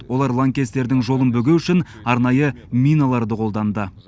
олар лаңкестердің жолын бөгеу үшін арнайы миналарды қолданды